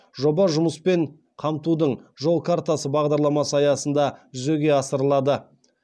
жоба жұмыспен қамтудың жол картасы бағдарламасы аясында жүзеге асырылады